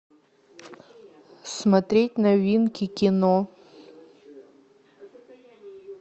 смотреть новинки кино